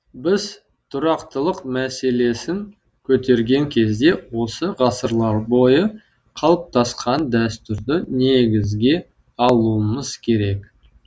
біз тұрақтылық мәселесін көтерген кезде осы ғасырлар бойы қалыптасқан дәстүрді негізге алуымыз керек